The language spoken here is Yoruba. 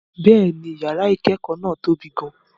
Bẹ́ẹ̀ni, yàrá ìkẹ́kọ̀ọ́ náà tóbi gan-an.